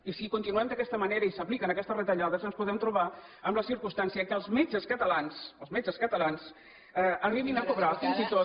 i si continuem d’aquesta manera i s’apliquen aquestes retallades ens podem trobar amb la circumstància que els metges catalans els metges catalans arribin a cobrar fins i tot